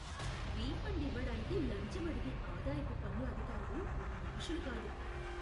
Refund ఇవ్వడానికి లంచం అడిగే ఆదాయపు పన్ను అధికారులు మనుషులు కాదు.